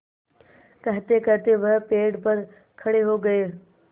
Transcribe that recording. कहतेकहते वह पेड़ पर खड़े हो गए